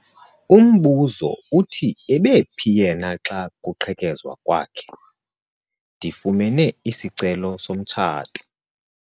Umbuzo uthi ebephi yena xa kuqhekezwa kwakhe? ndifumene isicelo somtshato